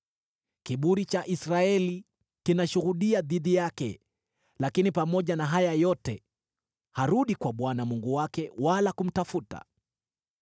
Kiburi cha Israeli kinashuhudia dhidi yake, lakini pamoja na haya yote harudi kwa Bwana Mungu wake wala kumtafuta.